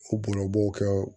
U bob'o kɛ